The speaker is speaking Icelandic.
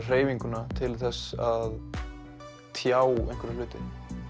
hreyfinguna til að tjá einhverja hluti